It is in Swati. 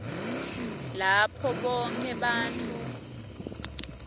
lapho bonkhe bantfu